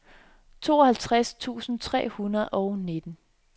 tooghalvtreds tusind tre hundrede og nitten